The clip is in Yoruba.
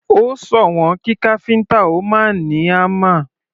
Ó sòwọ́n kí káfíntà ó máa ní hámà.